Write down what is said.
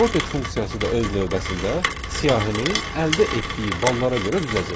Sorted funksiyası da öz növbəsində siyahini əldə etdiyi ballara görə düzəcək.